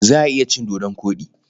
Za a iya cin dodon koɗi.